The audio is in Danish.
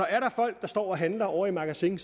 er folk der står og handler ovre i magasin